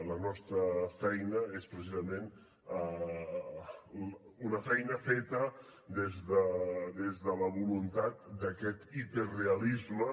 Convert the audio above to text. la nostra feina és precisament una feina feta des de la voluntat d’aquest hiperrealisme